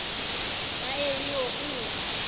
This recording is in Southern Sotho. a e i o u